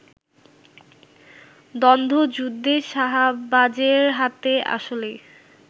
দ্বন্ধযুদ্ধে শাহবাজের হাতে আসলেই